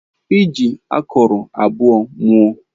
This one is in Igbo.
I ji akụrụ abụọ mụọ.